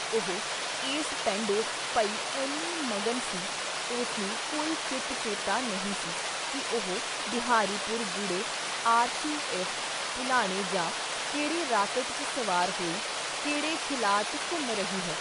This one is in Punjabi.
ਉਹ ਏਸ ਪੈਂਡੇ ਪਈ ਐਨੀ ਮਗਨ ਸੀ, ਉਸਨੂੰ ਕੋਈ ਚਿਤ ਚੇਤਾ ਨਹੀਂ ਸੀ ਕਿ ਉਹ ਬਿਹਾਰੀ ਪੁਰ, ਗੁੜੇ, ਆਰ. ਸੀ. ਐਫ. ਭੁਲਾਣੇ ਜਾਂ ਕਿਹੜੇ ਰਾਕਟ 'ਚ ਸਵਾਰ ਹੋਈ ਕਿਹੜੇ ਖਿਲਾਅ 'ਚ ਘੁੰਮ ਰਹੀ ਹੈ ?